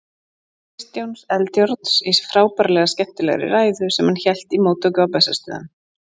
Kristjáns Eldjárns, í frábærlega skemmtilegri ræðu, sem hann hélt í móttöku á Bessastöðum.